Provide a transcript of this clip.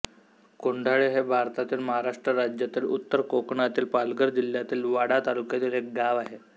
कोंढाळे हे भारतातील महाराष्ट्र राज्यातील उत्तर कोकणातील पालघर जिल्ह्यातील वाडा तालुक्यातील एक गाव आहे